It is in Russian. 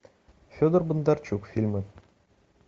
федор бондарчук фильмы